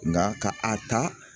Nka ka a ta